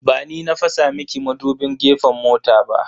Ba ni na fasa miki madubin gefen mota ba.